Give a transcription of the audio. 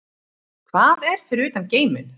Hvað er fyrir utan geiminn?